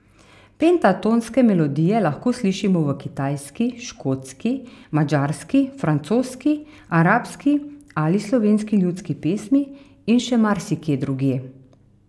Pentatonske melodije lahko slišimo v kitajski, škotski, madžarski, francoski, arabski ali slovenski ljudski pesmi in še marsikje drugje.